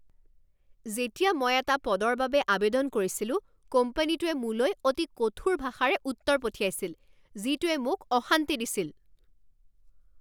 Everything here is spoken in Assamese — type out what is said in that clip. যেতিয়া মই এটা পদৰ বাবে আৱেদন কৰিছিলোঁ, কোম্পানীটোৱে মোলৈ অতি কঠোৰ ভাষাৰে উত্তৰ পঠিয়াইছিল যিটোৱে মোক অশান্তি দিছিল